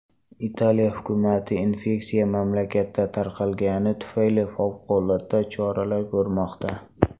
Italiya hukumati infeksiya mamlakatda tarqalgani tufayli favqulodda choralar ko‘rmoqda .